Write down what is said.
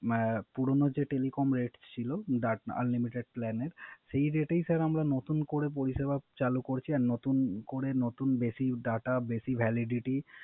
পুরনো যে telephone Rate ছিল Unlimited Plan এ সেই Rate এ Sir আমরা নতুন করে পরিসেবা চালু করছি আর নতুন করে নতুন বেশি Data বেশি Validity